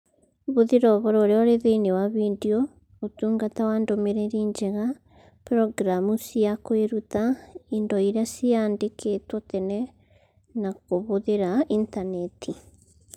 Hũthĩra ũhoro ũrĩa ũrĩ thĩinĩ wa video, Ũtungata wa Ndũmĩrĩri Njega, programu cia kwĩruta, indo iria ciandĩkĩtwo tene, na Kũhũthĩra Intaneti